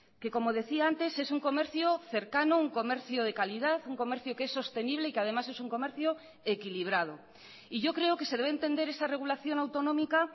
que como decía antes es un comercio cercano un comercio de calidad un comercio que es sostenible y que además es un comercio equilibrado y yo creo que se debe entender esa regulación autonómica